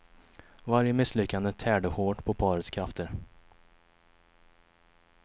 Varje misslyckande tärde hårt på parets krafter.